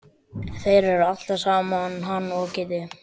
Þeir eru alltaf saman hann og Kiddi.